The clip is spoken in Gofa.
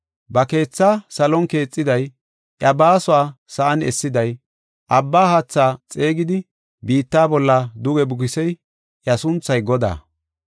Ba keethaa salon keexiday, iya baasuwa sa7an essiday, abba haatha xeegidi, biitta bolla duge bukisey; iya sunthay Godaa.